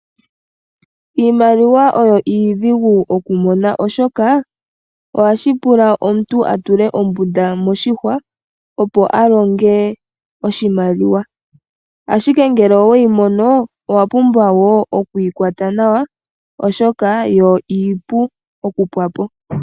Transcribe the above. Iimaliwa oyo iidhigu okumona oshoka , ohashi pula omuntu a tule ombunda moshihwa, opo a longe oshimaliwa. Ashike ngele oweyi mono, owa pumbwa wo okuyi kwata nawa, oshoka yo iipu okupwa po.